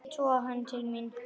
Ég toga hann til mín.